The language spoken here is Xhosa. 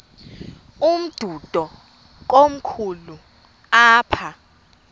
umdudo komkhulu apha